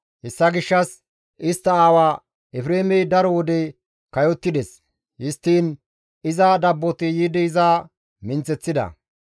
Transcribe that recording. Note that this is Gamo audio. Hessa gishshas istta aawa Efreemey daro wode kayottides; histtiin iza dabboti yiidi iza minththeththida.